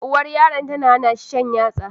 Uwar yaron tana hanashi shan yatsa